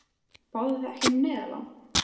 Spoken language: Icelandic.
Báðuð þið ekki um neyðarlán?